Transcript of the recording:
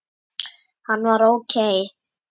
Hann var ókei.